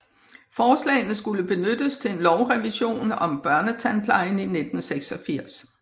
Forslagene skulle benyttes til en lovrevision om børnetandplejen i 1986